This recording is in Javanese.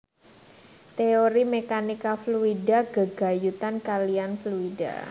Téori mèkanika fluida gégayutan kaliyan fluida